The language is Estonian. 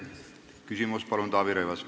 Taavi Rõivas, palun küsimus!